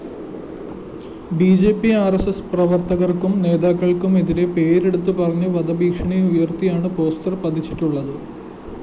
B J P R S S പ്രവര്‍ത്തകര്‍ക്കും നേതാക്കള്‍ക്കുമെതിരെ പേരെടുത്തുപറഞ്ഞ് വധഭീഷണിയുയര്‍ത്തിയാണ് പോസ്റ്റർ പതിച്ചിട്ടുള്ളത്